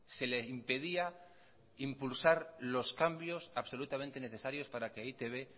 se le impedía impulsar los cambios absolutamente necesarios para que e i te be